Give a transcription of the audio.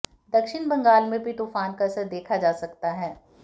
दक्षिण बंगाल में भी तूफान का असर देखा जा सकता है